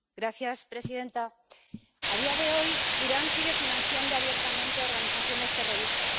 Señora presidenta, a día de hoy, Irán sigue financiando abiertamente a organizaciones terroristas.